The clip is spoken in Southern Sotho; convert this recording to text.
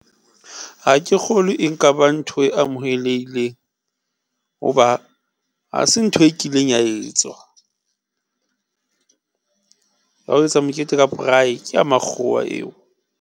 Ha ke kgolwe, e nkaba ntho e amohelehileng hoba ha se ntho e kileng ya etswa ya ho etsa mokete ka braai, ke ya makgowa eo.